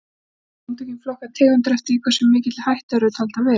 Samtökin flokka tegundir eftir því í hversu mikilli hættu þær eru taldar vera.